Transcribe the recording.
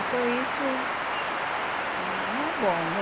Então, isso não é bom, né?